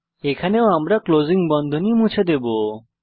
এখানেও আমরা ক্লোসিং বন্ধনী মুছে দেবো